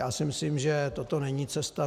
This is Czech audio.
Já si myslím, že toto není cesta.